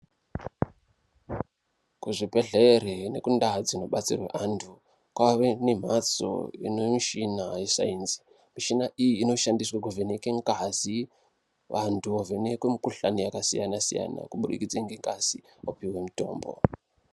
Kuzvibhedhlera nekundau dzinobatsirwe antu, kwave nemhatso inemishina yeSainzi. Mishina iyi inoshandiswe kuvheneke ngazi, vantu vovhenekwe mukhuhlani yakasiyana-siyana kubudikidze ngengazi, wopiwe mutombo.